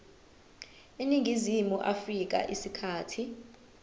eningizimu afrika isikhathi